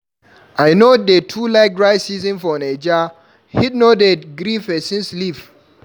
I no dey too like dry season for Naija, heat no dey gree pesin sleep.